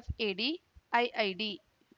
FAD IID